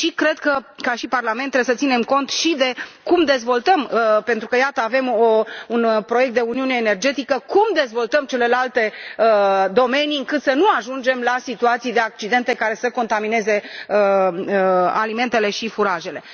Cred că, ca Parlament, trebuie să ținem cont și de cum dezvoltăm pentru că, iată, avem un proiect de uniune energetică cum dezvoltăm celelalte domenii, încât să nu ajungem la situații de accidente care să contamineze alimentele și furajele.